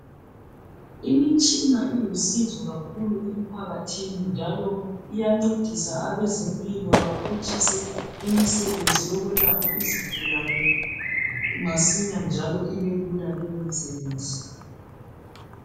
Imitshina ilusizo kakhulu emphakathini njalo iyancedisa abezempilo baphutshise imisebenzi yokwelapha izigulane masinya njalo ibelula leyo misebenzi.